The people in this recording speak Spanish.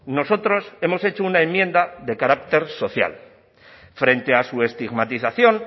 nosotros hemos hecho una enmienda de carácter social frente a su estigmatización